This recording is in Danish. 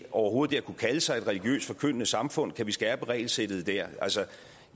overhovedet at kunne kalde sig et religiøst forkyndende samfund kan vi skærpe regelsættet der altså